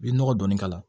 I bɛ nɔgɔ dɔɔni k'a la